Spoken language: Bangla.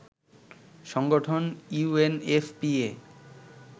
সংগঠন ইউএনএফপিএ